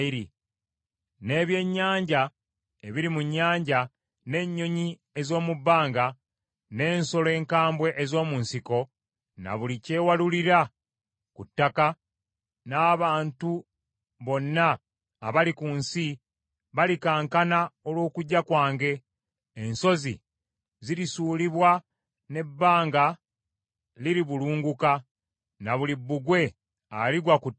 n’ebyennyanja ebiri mu nnyanja, n’ennyonyi ez’omu bbanga, n’ensolo enkambwe ez’omu nsiko, ne buli kyewalulira ku ttaka, n’abantu bonna abali ku nsi balikankana olw’okujja kwange. Ensozi zirisuulibwa n’ebbanga liribulunguka, ne buli bbugwe aligwa ku ttaka.